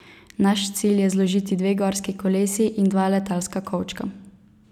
Naš cilj je zložiti dve gorski kolesi in dva letalska kovčka.